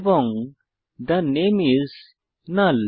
এবং থে নামে আইএস নাল